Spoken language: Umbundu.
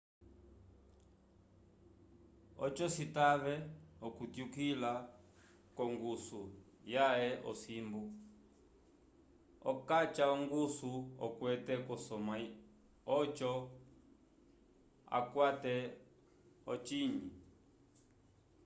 oco citave okutyukila k'ongusu yãhe yosimbu okaca ongusu okwete k'osamwa oco akwate ocinyi